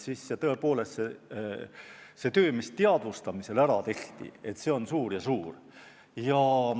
Aga tõepoolest see töö, mis olukorra teadvustamisel ära tehti, oli suur.